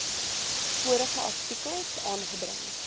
vorige artikels aangebring